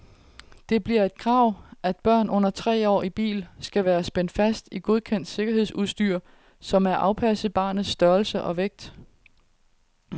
Det bliver et krav, at børn under tre år i bil skal være spændt fast i godkendt sikkerhedsudstyr, som er afpasset barnets størrelse og vægt.